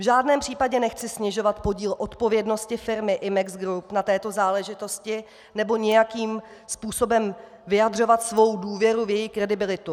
V žádném případě nechci snižovat podíl odpovědnosti firmy Imex Group na této záležitosti nebo nějakým způsobem vyjadřovat svou důvěru v její kredibilitu.